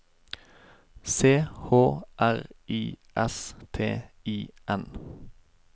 C H R I S T I N